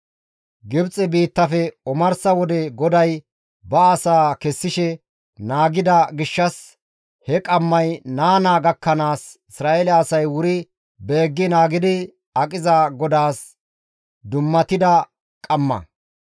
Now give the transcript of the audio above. Gibxe biittafe omarsa wode GODAY ba asaa kessishe naagida gishshas he qammay naa naa gakkanaas, Isra7eele asay wuri beeggi naagidi aqiza GODAAS dummatida qamma.